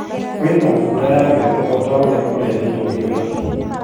kwĩ na mbura ya mbembe o ta ũrĩa kureretwo ni ũrathi